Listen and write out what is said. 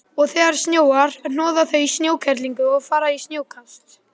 Og þegar snjóar hnoða þau snjókerlingu og fara í snjókast.